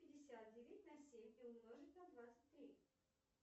пятьдесят делить на семь и умножить на двадцать три